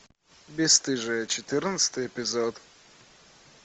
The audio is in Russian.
бесстыжие четырнадцатый эпизод